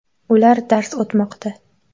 Ular dars o‘tmoqda.